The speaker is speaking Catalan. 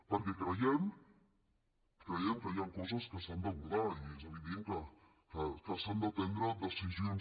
perquè creiem creiem que hi han coses que s’han d’abordar i és evident que s’han de prendre decisions